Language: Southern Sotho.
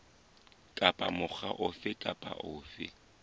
kapa mokga ofe kapa ofe